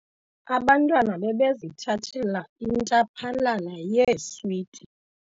Abantwana bebzithathela intaphalala yeeswiti.